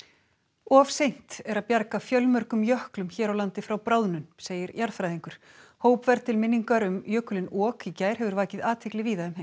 of seint er að bjarga fjölmörgum jöklum hér á landi frá bráðnun segir jarðfræðingur hópferð til minningar um jökulinn ok í gær hefur vakið athygli víða um heim